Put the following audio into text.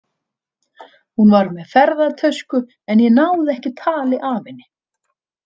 Hún var með ferðatösku, en ég náði ekki tali af henni.